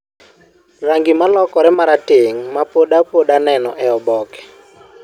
rangi malokore maratong mapodapoda neno e oboke.